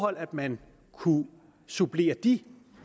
at man kunne supplere de